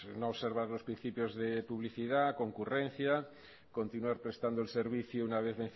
no observar los principios de publicidad concurrencia continuar prestando el servicio una vez